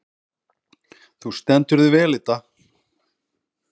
Þú stendur þig vel, Idda!